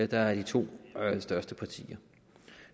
der er de to største partier